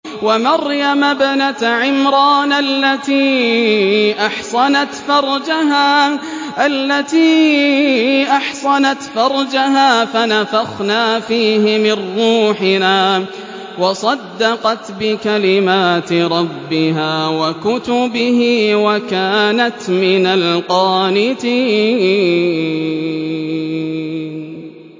وَمَرْيَمَ ابْنَتَ عِمْرَانَ الَّتِي أَحْصَنَتْ فَرْجَهَا فَنَفَخْنَا فِيهِ مِن رُّوحِنَا وَصَدَّقَتْ بِكَلِمَاتِ رَبِّهَا وَكُتُبِهِ وَكَانَتْ مِنَ الْقَانِتِينَ